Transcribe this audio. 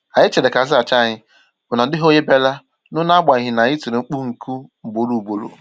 Anyị chèrè ka azaghachi ànyị, ma na ọ dịghị ònye biara nụ n'agbanyi n'anyi tiri mkpu nku ugboro ugboro.